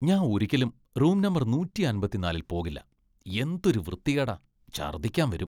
ഞാൻ ഒരിക്കലും room number നൂറ്റി അമ്പത്തി നാലിൽ പോകില്ല , എന്തൊരു വൃത്തികേടാ , ഛർദ്ദിക്കാൻ വരും.